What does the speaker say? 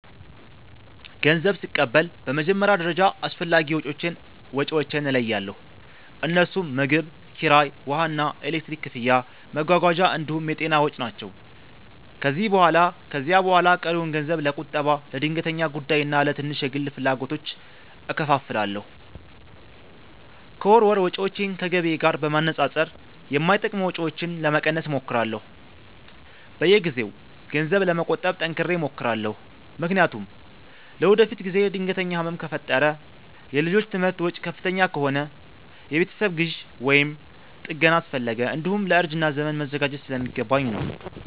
ገንዘብ ስቀበል በመጀመሪያ ደረጃ አስፈላጊ ወጪዎቼን እለያለሁ፤ እነርሱም ምግብ፣ ኪራይ፣ ውሃና ኤሌክትሪክ ክፍያ፣ መጓጓዣ እንዲሁም የጤና ወጪ ናቸው። ከዚያ በኋላ ቀሪውን ገንዘብ ለቁጠባ፣ ለድንገተኛ ጉዳይና ለትንሽ የግል ፍላጎቶች እከፋፍላለሁ። ከወር ወር ወጪዎቼን ከገቢዬ ጋር በማነጻጸር የማይጠቅሙ ወጪዎችን ለመቀነስ እሞክራለሁ። በየጊዜው ገንዘብ ለመቆጠብ ጠንክሬ እሞክራለሁ፤ ምክንያቱም ለወደፊት ጊዜ ድንገተኛ ህመም ከፈጠረ፣ የልጆች ትምህርት ወጪ ከፍተኛ ከሆነ፣ የቤት ግዢ ወይም ጥገና አስፈለገ፣ እንዲሁም ለእርጅና ዘመን መዘጋጀት ስለሚገባኝ ነው።